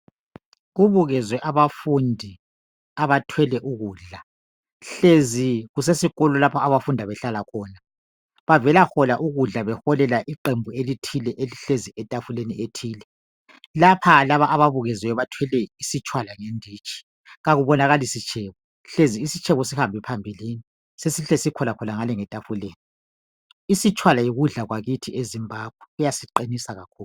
Kubukezwe abafundi abathwele ukudla hlezi kusesikolo lapha abafunda behlala khona. Bavelahola ukudla beholela iqembu elithile elihlezi etafuleni ethile. Lapha laba ababukeziweyo bathwele izitshwala ngeditshi akubonakali isitshebo hlezi isitshebo sihambe phambili sesikhona ngale etafuleni. Isitshwala yokudla kwakithi eZimbabwe kuyasiqinisa kakhulu.